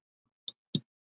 Reynir getur átt við